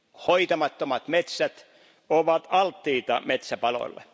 Hoitamattomat metsät ovat alttiita metsäpaloille.